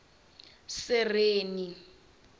sereni